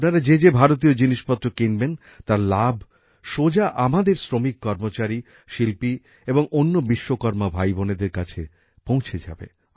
আপনারা যে যে ভারতীয় জিনিসপত্র কিনবেন তার লাভ সোজা আমাদের শ্রমিক কর্মচারী শিল্পী এবং অন্য বিশ্বকর্মা ভাইবোনেদের কাছে পৌঁছে যাবে